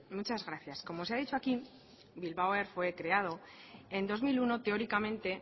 muchas gracias como se ha dicho aquí bilbao air fue creado en dos mil uno teóricamente